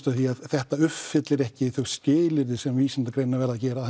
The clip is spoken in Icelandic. að því að þetta uppfyllir ekki þau skilyrði sem vísindagreinar verða að gera